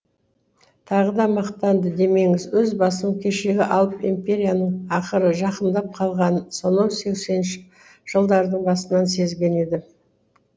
тағы да мақтанды демеңіз өз басым кешегі алып империяның ақыры жақындап қалғанын сонау сексенінші жылдардың басынан сезген едім